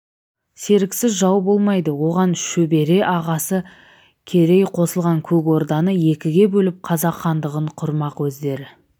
серіксіз жау болмайды оған шөбере ағасы керей қосылған көк орданы екіге бөліп қазақ хандығын құрмақ өздері